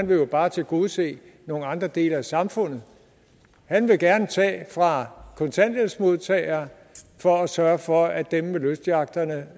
vil jo bare tilgodese nogle andre dele af samfundet han vil gerne tage fra kontanthjælpsmodtagere for at sørge for at dem med lystyachterne